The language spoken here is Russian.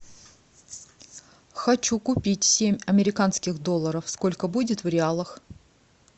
хочу купить семь американских долларов сколько будет в реалах